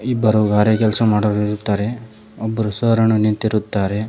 ಇಬ್ಬರು ಗಾರೆ ಕೆಲಸ ಮಾಡುವವರು ಇದ್ದಾರೆ ಒಬ್ಬರು ಸರ್ ಅನ್ನು ನಿಂತಿರುತ್ತಾರೆ.